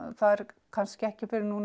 það er kannski ekki fyrr en